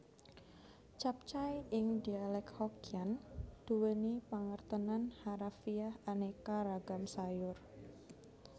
Capcay ing dialek Hokkian duweni pangertenan harafiah aneka ragam sayur